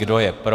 Kdo je pro?